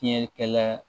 Fiɲɛ kɛlɛ